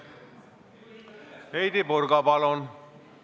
Heidy Purga, palun!